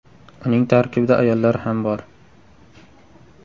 Uning tarkibida ayollar ham bor.